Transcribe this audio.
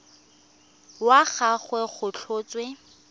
wa ga gagwe go tlhotswe